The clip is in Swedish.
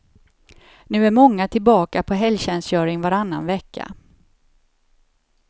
Nu är många tillbaka på helgtjänstgöring varannan vecka.